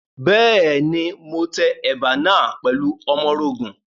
Bẹ́ẹ̀ni, mo tẹ ẹ̀bà náà pẹ̀lú ọmọrogùn.